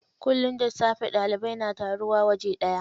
Kullum da safe ɗalibai na taruwa waje ɗaya.